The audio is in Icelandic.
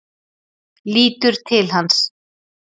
Lítur til hans.